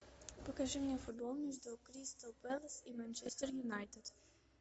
покажи мне футбол между кристал пэлас и манчестер юнайтед